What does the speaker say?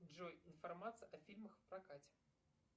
джой информация о фильмах в прокате